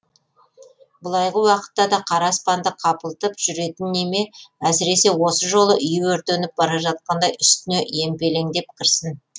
былайғы уақытта да қара аспанды қапылтып жүретін неме әсіресе осы жолы үйі өртеніп бара жатқандай үстіне емпелеңдеп кірсін